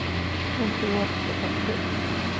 Runtii waad socotay